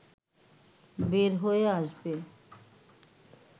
বের হয়ে আসবে